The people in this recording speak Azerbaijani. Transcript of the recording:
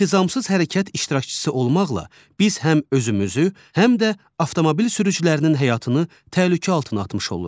İntizamsız hərəkət iştirakçısı olmaqla biz həm özümüzü, həm də avtomobil sürücülərinin həyatını təhlükə altına atmış oluruq.